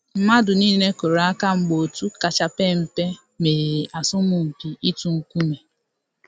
Mmadụ niile kụrụ aka mgbe òtù kacha mpe um meriri asọmpi itu nkume